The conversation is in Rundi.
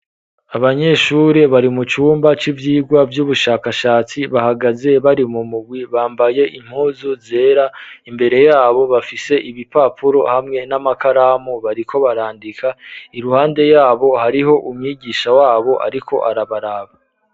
Abanyeshuri bari mu cumba c'ivyigwa vy'ubushakashatsi bahagaze bari mu mugwi bambaye impuzu zera imbere yabo bafise ibipapuro hamwe n'amakaramu bariko barandika iruhande yabo hariho umwigisha wabo ariko arabaraba.